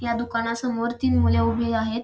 या दुकानासमोर तीन मुले उभी आहेत.